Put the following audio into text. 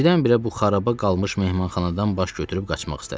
Birdən-birə bu xaraba qalmış mehmanxanadan baş götürüb qaçmaq istədim.